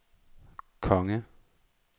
konge